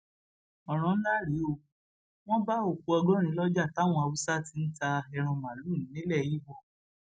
ọràn ńlá rèé wọn bá òkú ọgọrin lọjà táwọn haúsá ti ń ta ẹran màálùú nílẹ ibo